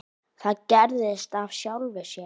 Það gerðist af sjálfu sér.